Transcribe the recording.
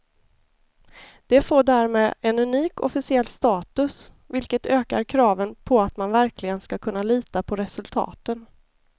Det får därmed en unik officiell status, vilket ökar kraven på att man verkligen ska kunna lita på resultaten.